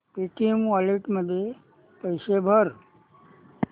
Paytm wallet मध्ये पैसे भर